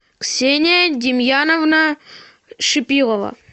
ксения демьяновна шипилова